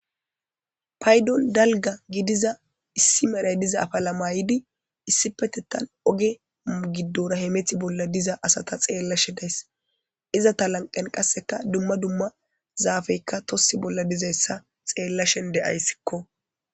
paydol dalga gidiza issi meray diza afala mayidi issipetettan oge giddorahemethi bolla diza asata xeella she days iza ta lanqen qasseka dumma dumma zaafeykka tossi bolla dizayssa xeellashen deyayssikko